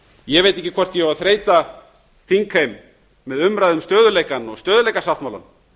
ég veit ekki hvort ég á að þreyta þingheim með umræðu um stöðugleikann og stöðugleikasáttmálann